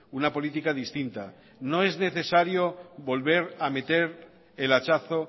una política distinta no es necesario volver a meter el hachazo